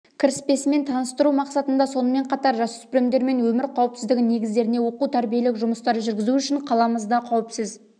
кіріспесімен таныстыру мақсатында сонымен қатар жасөспірімдермен өмір қауіпсіздігі негіздеріне оқу-тәрбиелік жұмыстар жүргізу үшін қаламызда қауіпсіз